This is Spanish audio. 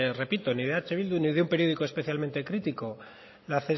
repito de eh bildu ni de un periódico especialmente crítico la